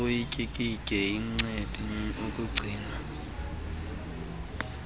utyikitye inceadi ekugcinwa